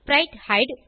ஸ்பிரைட்ஹைடு